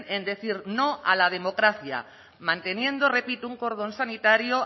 en decir no a la democracia manteniendo repito un cordón sanitario